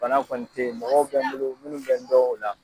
Bana kɔni tɛ ye mɔgɔw bɛ n bolo minnu bɛ n dɔ o la.